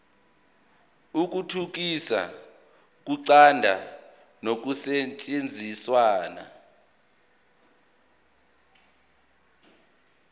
ukuthuthukisa ukuqonda nokusetshenziswa